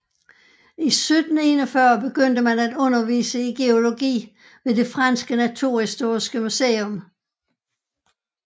I 1741 begyndte man at undervise i geologi ved det franske naturhistoriske museum